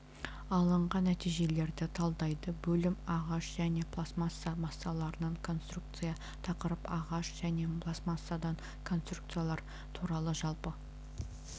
алынған нәтижелерді талдайды бөлім ағаш және пластмасса массаларынан конструкция тақырып ағаш және пластмассадан конструкциялар туралы жалпы